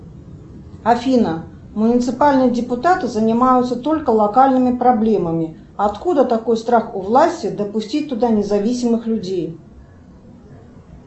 афина муниципальные депутаты занимаются только локальными проблемами откуда такой страх у власти допустить туда независимых людей